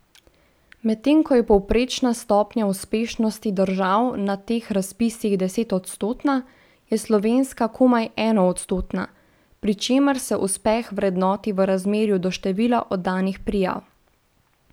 Medtem ko je povprečna stopnja uspešnosti držav na teh razpisih desetodstotna, je slovenska komaj enoodstotna, pri čemer se uspeh vrednoti v razmerju do števila oddanih prijav.